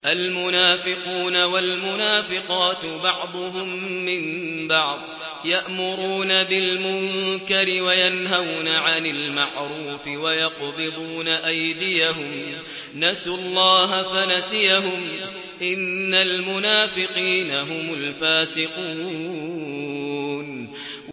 الْمُنَافِقُونَ وَالْمُنَافِقَاتُ بَعْضُهُم مِّن بَعْضٍ ۚ يَأْمُرُونَ بِالْمُنكَرِ وَيَنْهَوْنَ عَنِ الْمَعْرُوفِ وَيَقْبِضُونَ أَيْدِيَهُمْ ۚ نَسُوا اللَّهَ فَنَسِيَهُمْ ۗ إِنَّ الْمُنَافِقِينَ هُمُ الْفَاسِقُونَ